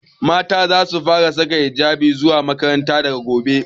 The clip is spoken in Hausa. Mata zasu fara saka hijabi zuwa makaranta daga gobe.